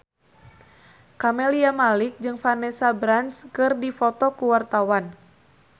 Camelia Malik jeung Vanessa Branch keur dipoto ku wartawan